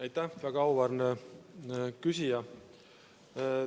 Aitäh, väga auväärne küsija!